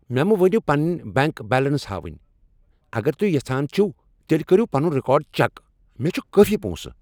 مےٚ مہٕ ونِو پنٕنۍ بینٛک بیلنس ہاوٕنۍ ۔ اگر توہہِ یژھان چھِو تیٚلہ کٔریو پنُن رِکارڈ چیک۔ مےٚ چُھ کٲفی پونسہٕ ۔